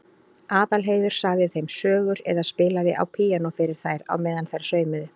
Aðalheiður sagði þeim sögur eða spilaði á píanó fyrir þær á meðan þær saumuðu.